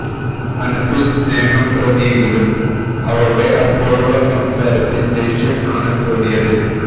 മനസ്സിൽ സ്നേഹം തോന്നിയെങ്കിലും അവളുടെ അപ്പോഴുള്ള സംസാരത്തിൽ ദേഷ്യം ആണ് തോന്നിയത്